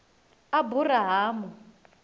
aburahamu